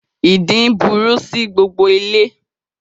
Ìdin burú sí gbogbo ilé